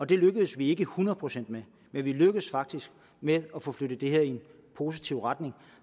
det lykkedes vi ikke hundrede procent med men vi lykkedes faktisk med at få flyttet i en positiv retning